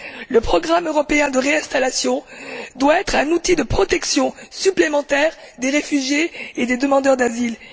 Le programme européen de réinstallation doit être un outil de protection supplémentaire des réfugiés et des demandeurs d'asile.